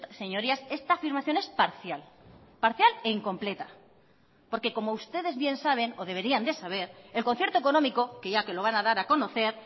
señorías esta afirmación es parcial parcial e incompleta porque como ustedes bien saben o deberían de saber el concierto económico que ya que lo van a dar a conocer